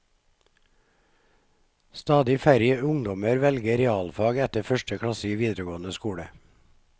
Stadig færre ungdommer velger realfag etter første klasse i videregående skole.